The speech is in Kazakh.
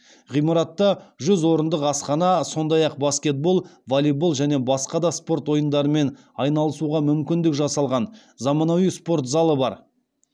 ғимаратта жүз орындық асхана сондай ақ баскетбол волейбол және басқа да спорт ойындарымен айналысуға мүмкіндік жасалған заманауи спорт залы бар